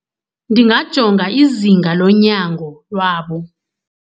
Ndingajonga izinga lonyango lwabo.